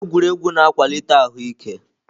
Egwuregwu na-akwalite ahụ ike.